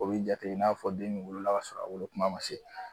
O b'i jate i n'a fɔ den min wolola k'a sɔrɔ a wolokuma ma se